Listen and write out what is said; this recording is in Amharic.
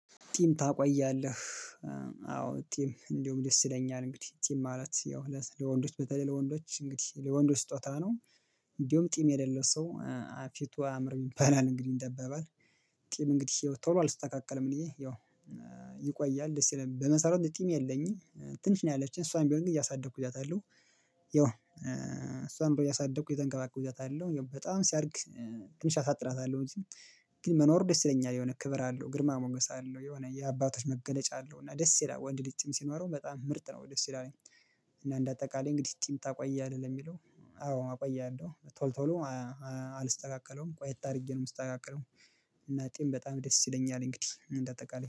ጢም ታቆያለህ? አዎ ጢም እንደውም ደስ ይለኛል እንግዲህ ጢም ማለት ያው ለወንዶች በተለይ ለወንዶች እንግዲህ ለወንዶች ስጦታ ነው እንዲሁም ጢም የሌለው ሰው ፊቱ አያምርም ይባላል እንግዲህ እንደ አባባል ጢም እንግዲህ ያው ቶሎ አልስተካከልም እኔ ያው ይቆያል ደስ ይላል በመሰረቱ እኔ ጢም የለኝም ትንሽ ነው ያለችኝ እሷን ቢሆን ግን እያሳደኩ ይዣታለሁ። ያው እሷንም ቢሆን እያሳደኩ እየተንከባከብኩ እይዛታለሁ ያው በጣም ሲያድግ ትንሽ አሳጥራታለሁ ግን መኖሩ ደስ ይለኛል የሆነ ክብር አለው፣ ግርማ ሞገስ አለው፣ የሆነ የአባቶች መገለጫ አለው እና ደስ ይላል ወንድ ጢም ሲኖረው በጣም ምርጥ ነው ወደ ደስ ይላልኝ። እና እንደ አጠቃላይ እንግዲህ ጢም ታቆያለህ ለሚለው አዎ አቆያለሁ ቶሎ ቶሎ አልስተካከለውም ቆየት አድርጌ ነው የምስተካከለው እና ጢም በጣም ደስ ይለኛል እንግዲህ እንደ አጠቃላይ።